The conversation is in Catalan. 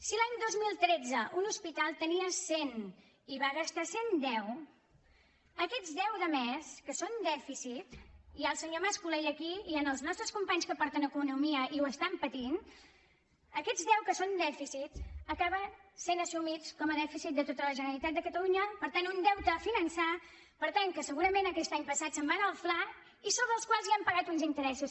si l’any dos mil tretze un hospital en tenia cent i en va gastar cent deu aquests deu de més que són dèficit hi ha el senyor mas colell aquí i hi han els nostres companys que porten economia i ho estan patint acaben sent assumits com a dèficit de tota la generalitat de catalunya per tant un deute a finançar per tant que segurament aquest any passat se’n va anar al fla i sobre els quals ja hem pagat uns interessos